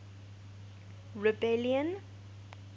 rebellion